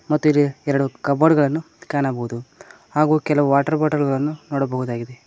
ಮತ್ತಿಲ್ಲಿ ಎರಡು ಕಬೋರ್ಡ್ ಗಳನ್ನು ಕಾಣಬಹುದು ಹಾಗೂ ಕೆಲವು ವಾಟರ್ ಬಾಟಲ್ ಗಳನ್ನು ನೋಡಬಹುದಾಗಿದೆ.